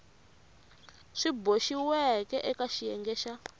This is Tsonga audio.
swi boxiweke eka xiyenge xa